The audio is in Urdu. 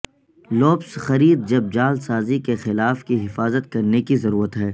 لوپس خرید جب جعل سازی کے خلاف کی حفاظت کرنے کی ضرورت ہے